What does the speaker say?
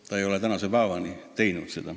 Ta ei ole tänase päevani seda teinud.